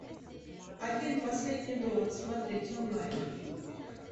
а фильм последний довод смотреть онлайн